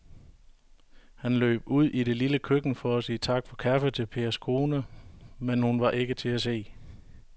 Han løb ud i det lille køkken for at sige tak for kaffe til Pers kone, men hun var ikke til at se.